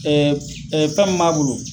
ŊƐɛ ɛɛ fɛn min b'a bolo